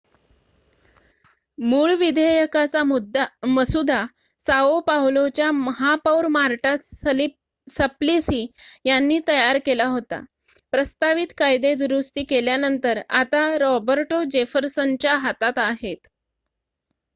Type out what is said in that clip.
मूळ विधेयकाचा मसुदा साओ पावलोच्या महापौर मार्टा सप्लिसी यांनी तयार केला होता प्रस्तावित कायदे दुरुस्ती केल्यानंतर आता रॉबर्टो जेफरसनच्या हातात आहेत